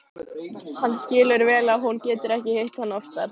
Hann skilur vel að hún getur ekki hitt hann oftar.